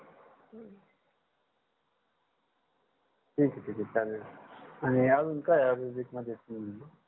ठीक आहे ठीक आहे चालेल आणि अजून काय आयुर्वेदिक मध्ये